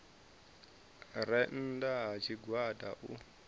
re nnda ha tshigwada u